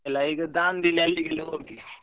ಅಲ್ಲ ಈಗ Dandeli ಅಲ್ಲಿಗೆ ಎಲ್ಲ ಹೋಗಿ.